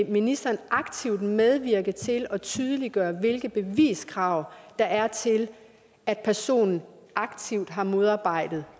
ministeren aktivt vil medvirke til at tydeliggøre hvilke beviskrav der er til at personen aktivt har modarbejdet